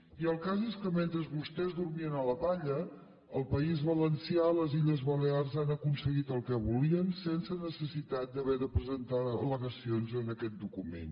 i el cas és que mentre vostès dormien a la palla el país valencià les illes balears han aconseguit el que volien sense necessitat d’haver de presentar al·legacions en aquest document